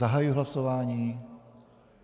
Zahajuji hlasování.